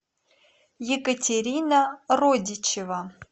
екатерина родичева